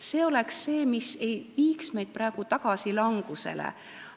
See oleks see, mis ei viiks meid praegu tagasi sinna, et tekib langus.